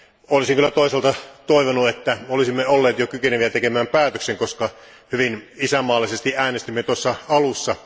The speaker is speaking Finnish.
Olisin kyllä toisaalta toivonut, että olisimme olleet jo kykeneviä tekemään päätöksen, koska hyvin isänmaallisesti äänestimme tuossa alussa.